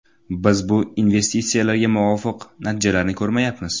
Biz bu investitsiyalarga muvofiq natijalarni ko‘rmayapmiz.